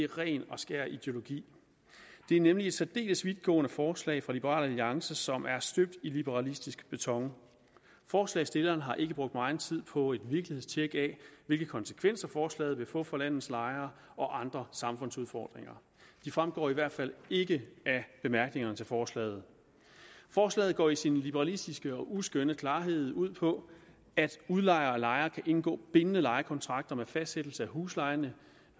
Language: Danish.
ren og skær ideologi det er nemlig et særdeles vidtgående forslag fra liberal alliance som er støbt i liberalistisk beton forslagsstillerne har ikke brugt meget tid på et virkelighedstjek af hvilke konsekvenser forslaget vil få for landets lejere og andre samfundsudfordringer de fremgår i hvert fald ikke af bemærkningerne til forslaget forslaget går i sin liberalistiske og uskønne klarhed ud på at udlejer og lejer kan indgå bindende lejekontrakter med fastsættelse af huslejen